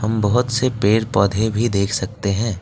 बहुत से पेड़ पौधे भी देख सकते हैं।